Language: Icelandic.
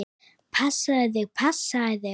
Passaðu þig, passaðu þig!